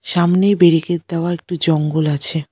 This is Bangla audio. সামনে ব্যারিকেট দেওয়া একটি জঙ্গল আছে।